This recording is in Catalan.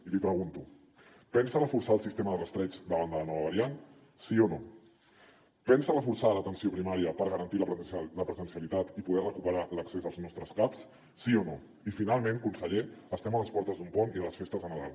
i li pregunto pensa reforçar el sistema de rastreig davant de la nova variant sí o no pensa reforçar l’atenció primària per garantir la presencialitat i poder recuperar l’accés als nostres caps sí o no i finalment conseller estem a les portes d’un pont i de les festes de nadal